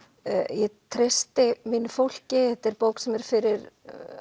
ég treysti mínu fólki þetta er bók sem er fyrir